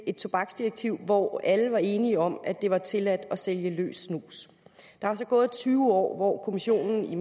et tobaksdirektiv og alle var enige om at det skulle være tilladt at sælge løs snus der er så gået tyve år hvori kommissionen i